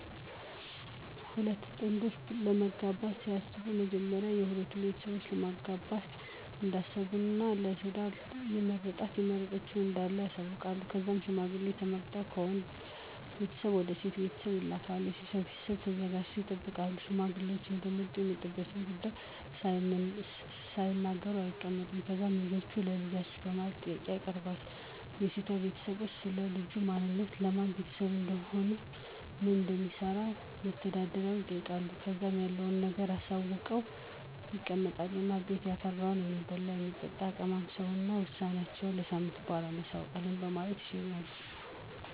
ሁለት ጥንዶች ለመጋባት ሲያስቡ በመጀመሪያ ለሁለቱም ቤተሰብ ለማጋባት እንዳሰቡ እና ለ ትዳር የመረጣት(የመረጠችዉ) እንዳለ ያሳዉቃሉ. ከዛም ሽማግሌ ተመርጠው ከወንድ ቤተሰብ ወደ ሴቷ ቤተሰብ ይልካሉ .የሴቷ ቤተሰብም ተዘጋጅተው ይጠብቃሉ። ሽማግሌዎች እንደመጡ የመጡበትን ጉዳይ ሳይናገሩ አይቀመጡም። ከዛም ልጃችሁን ለ ልጃችን በማለት ጥያቄውን ያቀርባሉ .የሴቷ ቤተሰብም, ስለ ልጁ ማንነት፣ የማን ቤተሰብ ልጅ እንደሆነ፣ ምን እንደሚሰራ(መተዳደሪያው)ይጠይቃሉ .ከዛም ያለዉን ነገር አሳውቀው ይቀመጡ እና ቤት ያፈራውን የሚበላም, የሚጠጣም ይቀማምሱ እና ውሳኔአቸውን ከሳምንት በኋላ እናሳዉቃለን በማለት ይሸኟቸዋል።